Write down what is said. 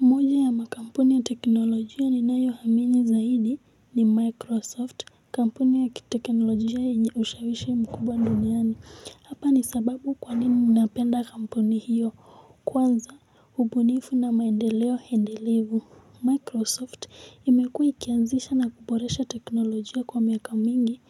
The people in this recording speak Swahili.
Moja ya makampuni ya teknolojia ninayohamini zaidi ni Microsoft, kampuni ya kitekenolojia yenye ushawishi mkubwa duniani. Hapa ni sababu kwa nini mnapenda kampuni hiyo, kwanza hubunifu na maendeleo hendelevu. Microsoft imekuwa ikianzisha na kuboresha teknolojia kwa miaka mingi,